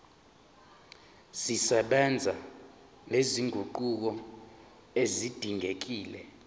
zisebenza nezinguquko ezidingekile